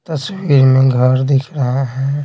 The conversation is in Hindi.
तस्वीर में घर दिख रहा है।